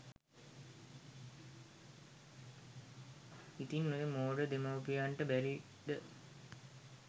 ඉතින් ඔය මෝඩ දෙමව්පියන්ට බැරිද